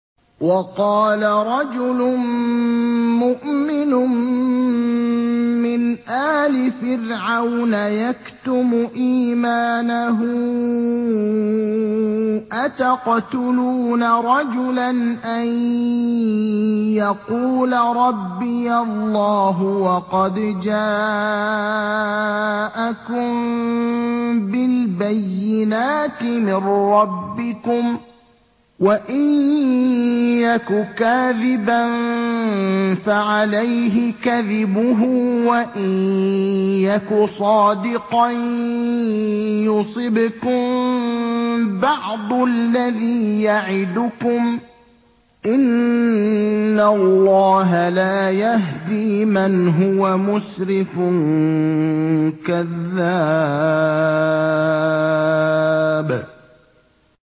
وَقَالَ رَجُلٌ مُّؤْمِنٌ مِّنْ آلِ فِرْعَوْنَ يَكْتُمُ إِيمَانَهُ أَتَقْتُلُونَ رَجُلًا أَن يَقُولَ رَبِّيَ اللَّهُ وَقَدْ جَاءَكُم بِالْبَيِّنَاتِ مِن رَّبِّكُمْ ۖ وَإِن يَكُ كَاذِبًا فَعَلَيْهِ كَذِبُهُ ۖ وَإِن يَكُ صَادِقًا يُصِبْكُم بَعْضُ الَّذِي يَعِدُكُمْ ۖ إِنَّ اللَّهَ لَا يَهْدِي مَنْ هُوَ مُسْرِفٌ كَذَّابٌ